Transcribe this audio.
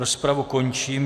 Rozpravu končím.